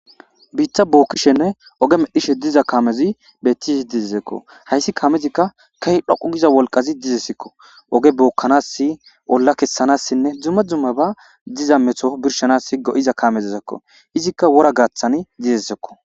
biitta bookkishenne oge medhishe diza kamezi bettishe dizesekko hayssi kamezikka kehi dhoqu giza wolqazi dizesekko oge bookkanassi olla kessanassinne dzumme dzume ba diza metho birshanasi go7iza kamezizekko izikka wora gaathani dizesekko